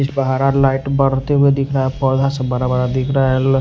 इस पर हरा लाइट बरते हुए दिख रहा है पोधा सब बरा-बरा दिख रहा है --